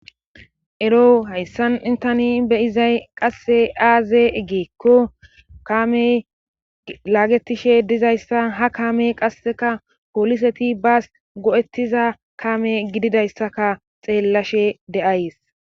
Ero hayssan intani beyizay qasse aaze eggeekko kame laagetishe dizayssa hakaame qasseka poliseti baas go'ettiza kame gididayssaka xeellashe deays.